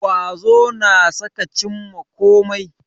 Ƙwazo na sa ka cimma kome